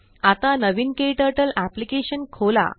आता नवीनKTurtleअप्लिकेशन खोला